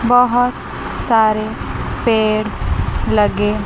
बहोत सारे पेड़ लगे--